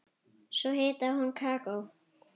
Svo hitaði hún kakó.